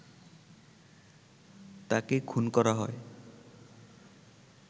তাকে খুন করা হয়